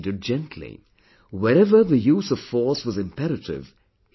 Wherever the use of force was imperative, he did not hesitate